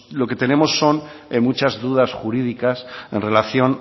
lo que tenemos son muchas dudas jurídicas en relación